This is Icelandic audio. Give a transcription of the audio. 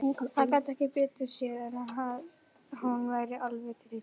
Hann gat ekki betur séð en að hún væri alveg til í tuskið.